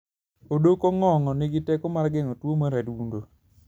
Odok ong'ong'o nigi teko mar geng'o tuwo mar adundo.